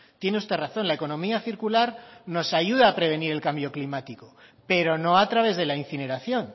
tiene usted razón la economía circular nos ayuda a prevenir el cambio climático pero no a través de la incineración